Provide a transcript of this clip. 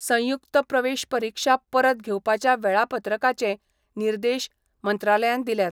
संयुक्त प्रवेश परिक्षा परत घेवपाच्या वेळापत्रकाचेय निर्देश मंत्रालयान दिल्यात.